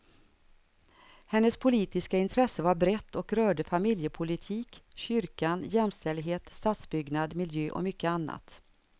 Hennes politiska intresse var brett och rörde familjepolitik, kyrkan, jämställdhet, stadsbyggnad, miljö och mycket annat.